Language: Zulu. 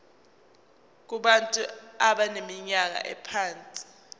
kubantu abaneminyaka engaphansi